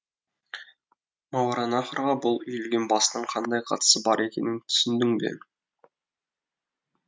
мауараннахрға бұл үйілген бастың қандай қатысы бар екенін түсіндің бе